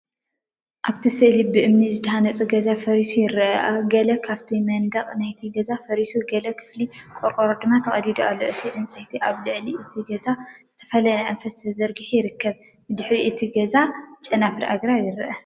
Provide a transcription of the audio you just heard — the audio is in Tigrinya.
ኣብቲ ስእሊ ብእምኒ ዝተሃንጸ ገዛ ፈሪሱ ይርአ። ገለ ካብ መናድቕ ናይቲ ገዛ ፈሪሱ፡ ገለ ክፋል ቆርቆሮ ድማ ተቐዲዱ ኣሎ። እቲ ዕንጨይቲ ኣብ ልዕሊ እቲ ገዛ ብዝተፈላለየ ኣንፈት ተዘርጊሑ ይርከብ። ብድሕሪ እቲ ገዛ ጨናፍር ኣግራብን ይርአ።